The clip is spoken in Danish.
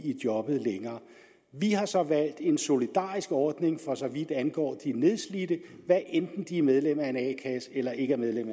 i jobbet vi har så valgt en solidarisk ordning for så vidt angår de nedslidte hvad enten de er medlem af en a kasse eller ikke er medlem